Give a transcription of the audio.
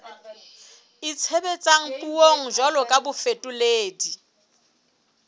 itshebetsang puong jwalo ka bafetoledi